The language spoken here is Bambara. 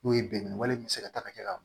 N'o ye biriki wale min bɛ se ka taga kɛ ka